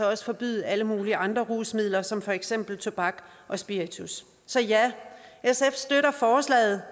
også forbyde alle mulige andre rusmidler som for eksempel tobak og spiritus sf støtter forslaget